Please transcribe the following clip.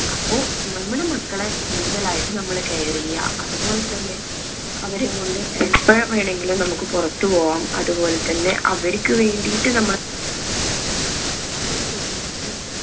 അപ്പൊ നമ്മുടെ മക്കളെ കൂടുതലായിട്ടും നമ്മള് care എയ്യാ അതുപോലെതന്നെ അവരെ വേണെങ്കിലും നമ്മുക്ക് പുറത്തു പോവാം അതുപോലെതന്നെ അവർക്ക് വേണ്ടിയിട്ട് നമ്മള് അവരെ studies ഇനും